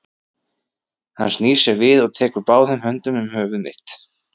Hún snýr sér við og tekur báðum höndum um höfuð mitt.